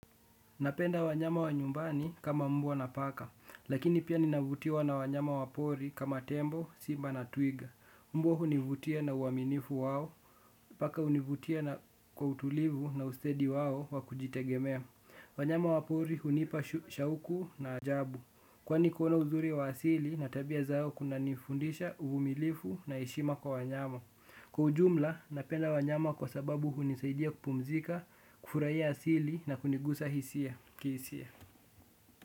Napenda wanyama wa nyumbani kama mbwa na paka, lakini pia ninavutiwa na wanyama wa pori kama tembo, simba na twiga. Mbwa hunivutia na uaminifu wao, paka hunivutia na kwa utulivu na ustadi wao wa kujitegemea. Wanyama wa pori hunipa shauku na ajabu. Kwani kuona uzuri wa asili, na tabia zao kunanifundisha uvumilivu na heshima kwa wanyama. Kwa ujumla, napenda wanyama kwa sababu hunisaidia kupumzika, kufurahia asili na kunigusa hisia. Kihisia.